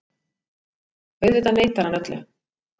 Auðvitað neitar hann öllu.